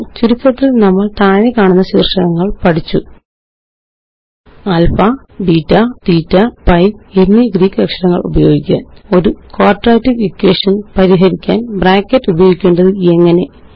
ചുരുക്കത്തില് നമ്മള് താഴെക്കാണുന്ന ശീര്ഷകങ്ങള് പഠിച്ചു ആല്ഫാ ബീറ്റ തീറ്റ പൈ എന്നീ ഗ്രീക്ക് അക്ഷരങ്ങള് ഉപയോഗിക്കാന് ഒരുQuadratic Equationപരിഹരിക്കാന് ബ്രാക്കറ്റ് ഉപയോഗിക്കേണ്ടത് എങ്ങനെ